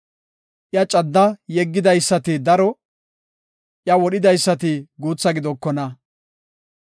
Iya cadda yeggidaysati daro; iya wodhidaysati guutha gidokona.